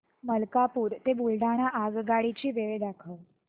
मलकापूर ते बुलढाणा आगगाडी ची वेळ दाखव